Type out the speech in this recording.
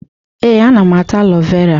Ee, ana m ata alo vera.